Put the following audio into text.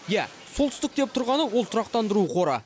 иә солтүстік деп тұрғаны ол тұрақтандыру қоры